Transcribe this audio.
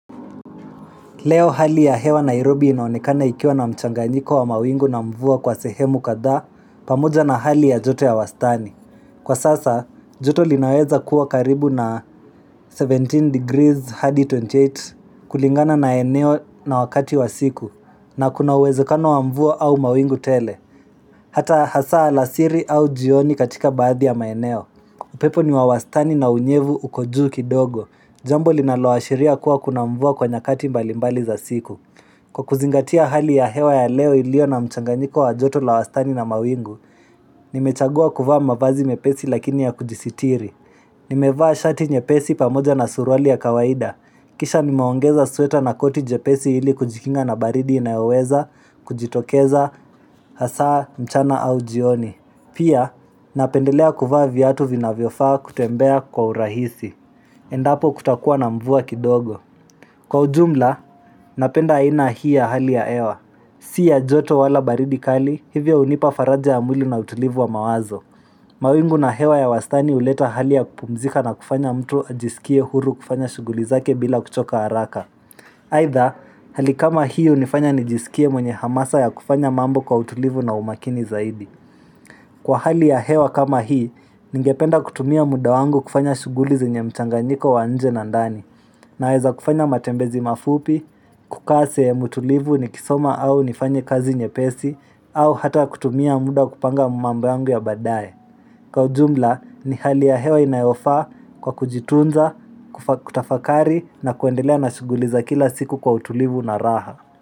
Leo hali ya hewa Nairobi inaonekana ikiwa na mchanganyiko wa mawingu na mvua kwa sehemu kadhaa pamoja na hali ya joto ya wastani. Kwa sasa, joto linaweza kuwa karibu na 17 degrees hadi 28 kulingana na eneo na wakati wa siku na kuna uwezekano wa mvua au mawingu tele. Hata hasa alasiri au jioni katika baadhi ya maeneo. Upepo ni wa wastani na unyevu uko juu kidogo. Jambo linaloashiria kuwa kuna mvua kwa nyakati mbalimbali za siku. Kwa kuzingatia hali ya hewa ya leo iliyo na mchanganyiko wa joto la wastani na mawingu Nimechagua kuvaa mavazi mepesi lakini ya kujisitiri Nimevaa shati nyepesi pamoja na suruali ya kawaida Kisha nimeongeza sweta na koti jepesi ili kujikinga na baridi inayoweza kujitokeza hasa mchana au jioni Pia napendelea kuvaa viatu vinavyofaa kutembea kwa urahisi Endapo kutakuwa na mvua kidogo Kwa ujumla napenda aina hii ya hali ya hewa Si ya joto wala baridi kali hivyo hunipa faraja ya mwili na utulivu wa mawazo mawingu na hewa ya wastani huleta hali ya kupumzika na kufanya mtu ajisikie huru kufanya shughuli zake bila kuchoka haraka Aidha hali kama hii hunifanya nijisikie mwenye hamasa ya kufanya mambo kwa utulivu na umakini zaidi Kwa hali ya hewa kama hii ningependa kutumia muda wangu kufanya shughuli zenye mchanganyiko wa nje na ndani Naeza kufanya matembezi mafupi, kukaa sehemu tulivu nikisoma au nifanye kazi nyepesi, au hata kutumia muda kupanga mambo yangu ya badae. Kwa ujumla ni hali ya hewa inayofaa kwa kujitunza, kutafakari na kuendelea na shughuli za kila siku kwa utulivu na raha.